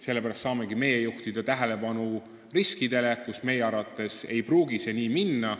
Sellepärast saamegi me juhtida tähelepanu riskikohtadele, kus meie arvates ei pruugi kõik plaanitult minna.